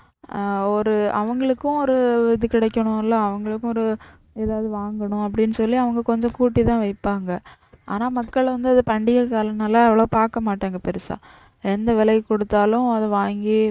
ஆஹ் ஒரு அவங்களுக்கும் ஒரு இது கிடைக்கனும்ல அவங்களுக்கும் ஒரு எதாவது வாங்கனும் அப்படி சொல்லி அவங்க கொஞ்சம் கூட்டிதான் விப்பாங்க. ஆனா மக்கள் வந்து அது பண்டிகை காலம்னால அவ்வளவா பாக்க மாட்டாங்க பெருசா எந்த விலைக்கு கொடுத்தாலும் அத வாங்கி